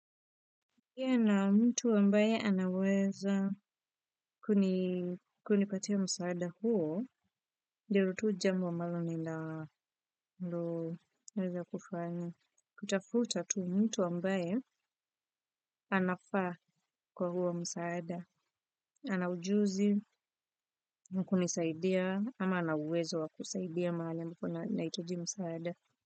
Kia na mtu ambaye anaweza kunipatia msaada huo, ndilo tu jambo ambalo ni naweza kufanya. Kutafuta tu mtu ambaye anafaa kwa huo msaada. Anaujuzi, wakunisaidia, ama anauwezo wakusaidia mahali ambako naitaji msaada.